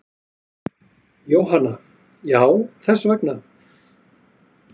Jóhanna: Já þess vegna.